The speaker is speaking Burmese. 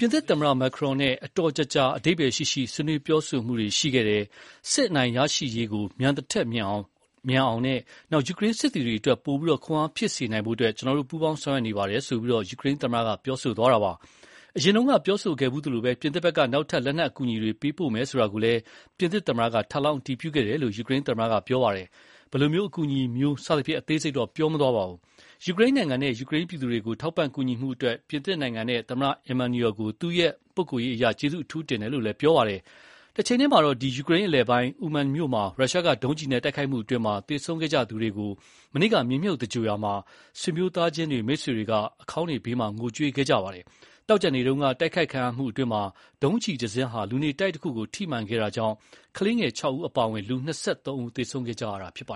ပြင်သစ်သမ္မတ Macron နဲ့ အတော်ကြာကြာ အဓိပ္ပါယ်ရှိရှိ ဆွေးနွေးပြောဆိုမှုတွေရှိခဲ့တယ်၊ စစ်အနိုင်ရရှိရေး မြန်သထက်မြန်ဆန်အောင်လို့နဲ့ ယူကရိန်းစစ်သည်တွေအတွက် ပိုပြီး ခွန်အားဖြစ်စေနိုင်ဖို့ ကျနော်တို့ ပူးပေါင်းဆောင်ရွက်နေပါတယ်" လို့ ယူကရိန်းသမ္မတက ပြောလိုက်တာပါ။ အရင်ကပြောခဲ့ဖူးသလို ပြင်သစ်ဘက်က နောက်ထပ် လက်နက်အကူအညီတွေပေးပို့မယ်ဆိုတာကိုလည်း ပြင်သစ်သမ္မတက ထပ်လောင်းအတည်ပြုခဲ့တယ်လို့ ယူကရိန်းသမ္မတက ပြောပါတယ်။ ဘယ်လိုအကူအညီမျိုး စသဖြင့် အသေးစိတ်တော့ ပြောမသွားပါဘူး။ ယူကရိန်းနိုင်ငံနဲ့ ယူကရိန်းပြည်သူတွေကို ထောက်ပံ့ကူညီမှုအတွက် ပြင်သစ်နိုင်ငံနဲ့ သမ္မတ Emmanuel ကို သူ့ပုဂ္ဂိုလ်ရေးအရ ကျေးဇူးအထူးတင်တယ်လို့လည်း ပြောပါတယ်။ တချိန်တည်းမှာတော့ ယူကရိန်းအလယ်ပိုင်း Uman မြို့မှာ ရုရှားက ဒုံးကျည်နဲ့တိုက်ခိုက်မှုအတွင်း သေဆုံးခဲ့ကြသူတွေကို မနေ့က မြေမြှုပ်သြင်္ဂိုဟ်ရာမှာ ဆွေမျိုးသားချင်းတွေ၊ မိတ်ဆွေတွေက အခေါင်းတွေဘေးမှာ ငိုကြွေးခဲ့ကြပါတယ်။ သောကြာနေ့တုန်းက တိုက်ခိုက်ခံရမှုအတွင်း ဒုံးကျည်တစင်းဟာ လူနေတိုက်တခုကိုထိမှန်တာကြောင့် ကလေးငယ် ၆ ဦးအပါအဝင် လူ ၂၃ ဦး သေဆုံးခဲ့ကြရတာပါ